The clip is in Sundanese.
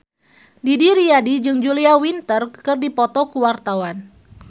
Didi Riyadi jeung Julia Winter keur dipoto ku wartawan